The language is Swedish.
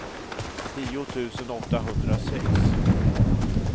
tio tusen åttahundrasex